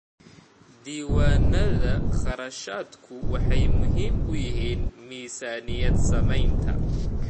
Diiwaanada kharashku waxay muhiim u yihiin miisaaniyad-samaynta.